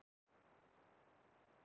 Það er í raun og veru